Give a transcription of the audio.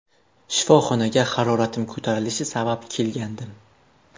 Shifoxonaga haroratim ko‘tarilishi sabab kelgandim.